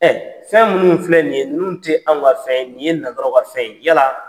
Fɛn minnu filɛ nin ye, ninnu tɛ anw ka fɛn ye, nin ye nanzaraw ka fɛn ye. Yala